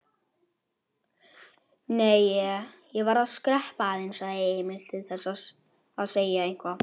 Nei, ég. ég verð að skreppa aðeins, sagði Emil, til þess að segja eitthvað.